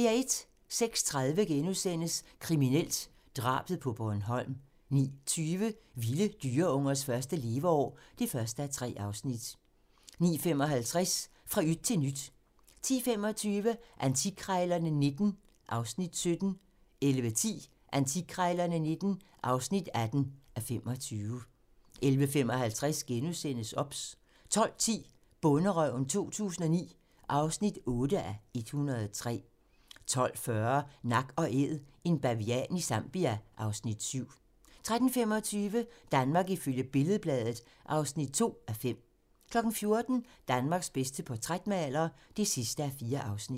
06:30: Kriminelt: Drabet på Bornholm * 09:20: Vilde dyreungers første leveår (1:3) 09:55: Fra yt til nyt 10:25: Antikkrejlerne XIX (17:25) 11:10: Antikkrejlerne XIX (18:25) 11:55: OBS * 12:10: Bonderøven 2009 (8:103) 12:40: Nak & Æd - en bavian i Zambia (Afs. 7) 13:25: Danmark ifølge Billed-Bladet (2:5) 14:00: Danmarks bedste portrætmaler (4:4)